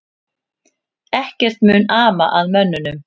Ekkert mun ama að mönnunum